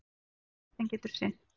Nanóvél sem getur synt.